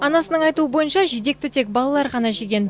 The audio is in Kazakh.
анасының айтуы бойынша жидекті тек балалар ғана жеген